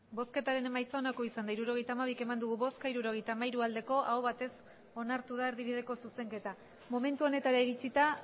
hirurogeita hamabi eman dugu bozka hirurogeita hamairu bai aho batez onartu da erdibideko zuzenketa momentu honetara iritsita